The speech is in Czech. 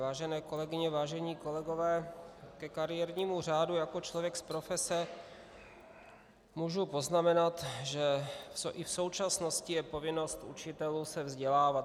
Vážené kolegyně, vážení kolegové, ke kariérnímu řádu jako člověk z profese můžu poznamenat, že i v současnosti je povinnost učitelů se vzdělávat.